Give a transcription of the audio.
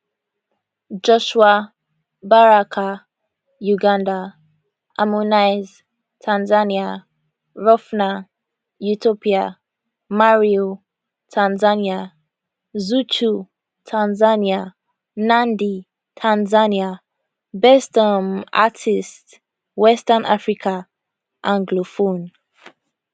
joshua baraka uganda harmonize tanzania rophnan ethiopia marioo tanzania zuchu tanzania nandy tanzania best um artist western africa anglophone